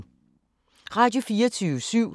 Radio24syv